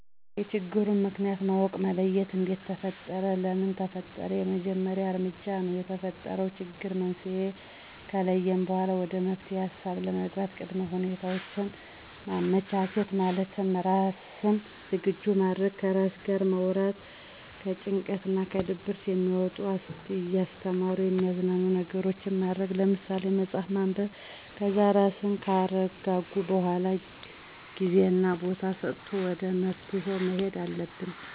የችግሩን ምክንያት ማወቅ መለየት እንዴት ተፈጠረ ለምን ተፈጠረ የመጀመሪያው እርምጃ ነው። የተፈጠረውን ችግር መንስኤ ከለየን በኋላ ወደ መፍትሔ ሀሳብ ለመግባት ቅድመ ሁኔታውችን ማመቻቸት፣ ማለትም ራስን ዝግጁ ማድረግ፣ ከራስ ጋር ማውራት፣ ከጭንቀት እና ከድብርት የሚያወጡ እያስተማሩ የሚያዝናኑ ነገሮችን ማድረግ ለምሳሌ፥ መፅሀፍ ማንበብ ...ከዛ ራስን ካረጋጉ በኋላ ጊዜና ቦታ ሰጥቶ ወደ መፍትሔው መሔድ አለብን።